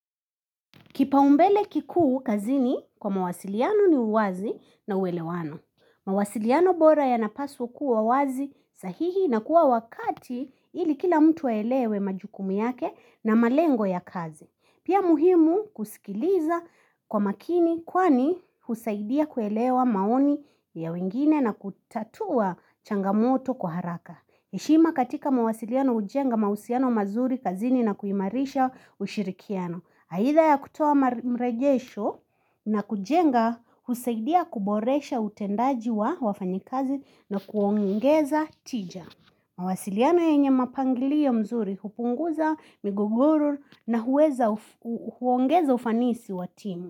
Kipaumbele kikuu kazini kwa mawasiliano ni uwazi na uwelewano. Mawasiliano bora yanapaswa kuwa wazi, sahihi na kuwa wakati ili kila mtu aelewe majukumu yake na malengo ya kazi. Pia muhimu kusikiliza kwa makini kwani husaidia kuelewa maoni ya wengine na kutatua changamoto kwa haraka. Heshima katika mawasiliano ujenga mahusiano mazuri kazini na kuimarisha ushirikiano. Haitha ya kutoa mregesho na kujenga husaidia kuboresha utendaji wa wafanyikazi na kuongeza tija. Mawasiliano yenye mapangilio mzuri hupunguza migogoro na huongeza ufanisi wa timu.